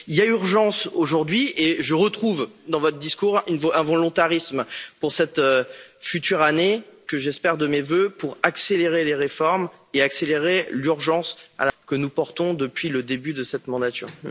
Il y a donc urgence aujourd'hui et je retrouve dans votre discours un volontarisme pour cette future année, que j'appelle de mes vœux, pour accélérer les réformes et accélérer l'urgence que nous portons depuis le début de cette mandature.